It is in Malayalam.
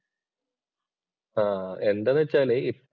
ആഹ് എന്താന്ന് വെച്ചാല് ഇപ്